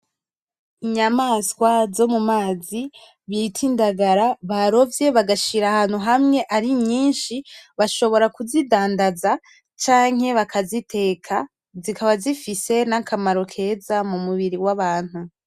Inyamaswa zo m’umazi bita indagara barovye bagashira ahantu hamwe ari nyishi bashobora kuzi dandaza canke bakaziteka zikaba zifise n’akamaro keza m’umubiri w’abantu.